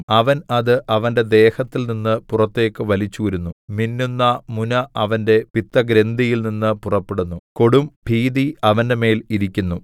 അവൻ അത് അവന്റെ ദേഹത്തിൽനിന്ന് പുറത്തേക്ക് വലിച്ചൂരുന്നു മിന്നുന്ന മുന അവന്റെ പിത്തഗ്രന്ഥിയിൽനിന്ന് പുറപ്പെടുന്നു കൊടും ഭീതി അവന്റെമേൽ ഇരിക്കുന്നു